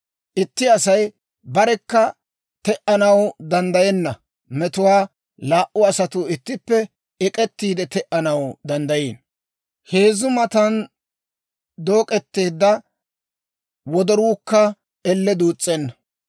Itti Asay barekka te"anaw danddayenna metuwaa laa"u asatuu ittippe ek'ettiide, te"anaw danddayiino. Heezzu kutsaan dook'etteedda wodoruukka elle duus's'enna.